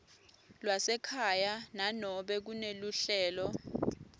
lwasekhaya nanobe kuneluhlelo